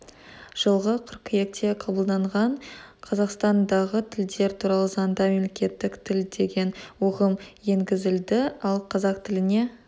жылғы қыркүйекте қабылданған қазақстан дағы тілдер туралы заңда мемлекеттік тіл деген ұғым енгізілді ал қазақ тіліне